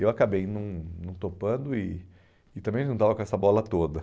Eu acabei não não topando e e também não estava com essa bola toda.